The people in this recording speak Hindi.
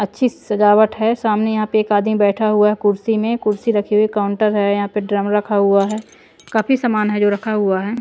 अच्छी सजावट है सामने यहाँ पे एक आदमी बैठा हुआ है कुर्सी में कुर्सी रखी हुई काउंटर है यहाँ पे ड्रम रखा हुआ है काफी सामान है जो रखा हुआ है।